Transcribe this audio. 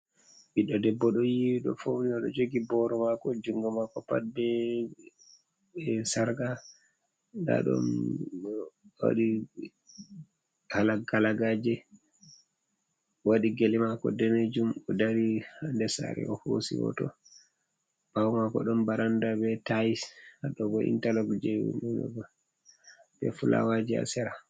Ɓiddo debbo ɗo yiwi ɗo founi, oɗo jogi boro mako jungo mako pat be sarqa nda dogalagaje waɗi gele mako denejum, o dari ha nder sare o hosi hoto ɓawo mako ɗon barand a be tai hadogo intarlog je nuna be fulawaje ha sera.